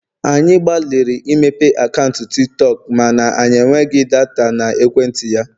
anyị gbalịrị imepe akaụntụ Tik tọk mana enweghị data na ekwentị ya